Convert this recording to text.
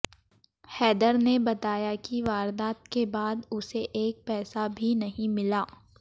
हैदर ने बताया कि वारदात के बाद उसे एक पैसा भी नहीं मिला